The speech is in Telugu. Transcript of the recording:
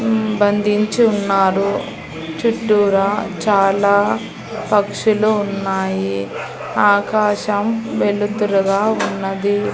మ్మ్ బంధించి ఉన్నారు చుట్టూరా చాలా పక్షులు ఉన్నాయి ఆకాశం వెలుతురు గా ఉన్నది.